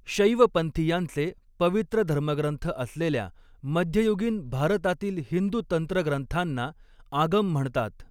शैवपंथियांचे, पवित्र धर्मग्रंथ असलेल्या मध्ययुगीन भारतातील हिंदू तंत्रग्रंथांना आगम म्हणतात.